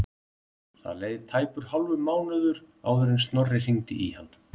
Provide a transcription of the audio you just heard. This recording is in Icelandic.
Það leið tæpur hálfur mánuður áður en Snorri hringdi í hann.